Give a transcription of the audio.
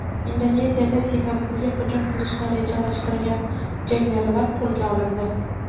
Indoneziyada Singapurga hujum qilishni rejalashtirgan jangarilar qo‘lga olindi.